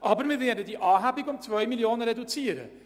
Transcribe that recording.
Aber wir werden die Anhebung um 2 Mio. Franken reduzieren.